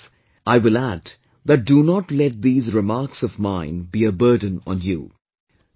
In the same breath, I will add that do not let these remarks of mine be a burden on you